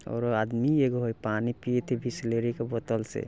और आदमी एगो हई पानी पियत हई बिसलेरी के बोतल से।